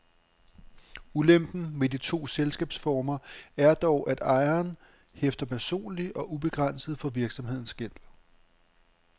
Ulempen ved de to selskabsformer er dog, at ejeren hæfter personligt og ubegrænset for virksomhedens gæld.